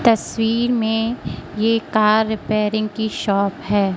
तस्वीर में ये कार रिपेयरिंग की शॉप है।